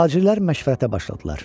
Tacirlər məşvərətə başladılar.